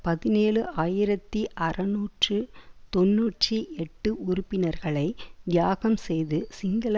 பதினேழு ஆயிரத்தி அறுநூற்று தொன்னூற்றி எட்டு உறுப்பினர்களை தியாகம் செய்து சிங்கள